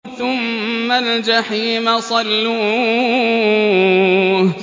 ثُمَّ الْجَحِيمَ صَلُّوهُ